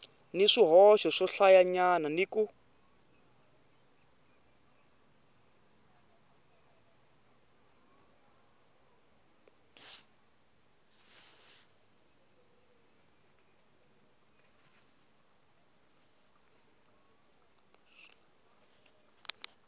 ni swihoxo swohlayanyana ni ku